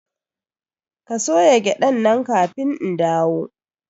Ka soya gyaɗan nan kafin in dawo!